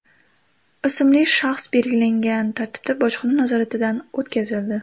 ismli shaxs belgilangan tartibda bojxona nazoratidan o‘tkazildi.